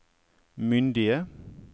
myndige